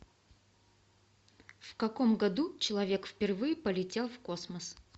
в каком году человек впервые полетел в космос